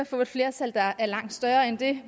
få et flertal der er langt større end det